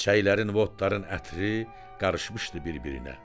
Çiçəklərin votların ətri qarışmışdı bir-birinə.